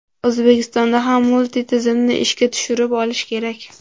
O‘zbekistonda ham multi-tizimni ishga tushirib olish kerak.